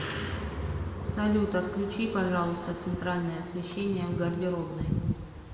салют отключи пожалуйста центральное освещение в гардеробной